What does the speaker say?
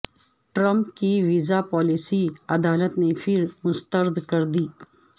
Trump کی visa policy عدالت نے پھر مسترد کر دی